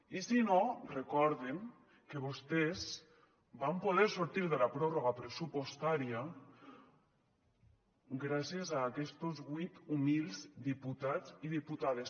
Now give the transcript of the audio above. i si no recorden que vostès van poder sortir de la pròrroga pressupostària gràcies a aquestos vuit humils diputats i diputades